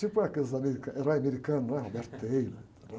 Tipo aqueles american, herói americano, não é?